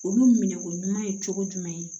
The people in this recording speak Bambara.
Olu minɛko ɲuman ye cogo jumɛn